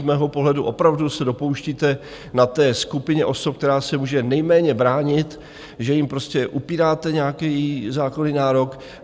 Z mého pohledu opravdu se dopouštíte na té skupině osob, která se může nejméně bránit, že jim prostě upíráte nějaký zákonný nárok.